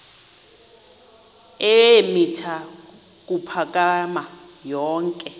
eemitha ukuphakama yonke